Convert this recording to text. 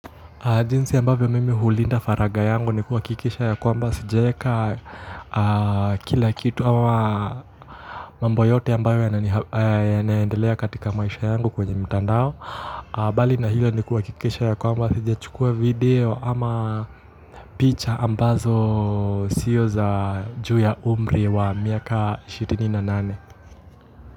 Jinsi ambavyo mimi hulinda faraga yangu ni kuhakikisha ya kwamba sijaeka kila kitu ama mambo yote ambayo yanaendelea katika maisha yangu kwenye mitandao bali na hilo ni kuhakikisha ya kwamba sijachukua video ama picha ambazo sio za juu ya umri wa miaka ishirini na nane.